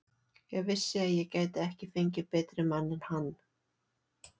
Ég vissi að ég gæti ekki fengið betri mann en hann.